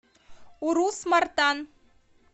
урус мартан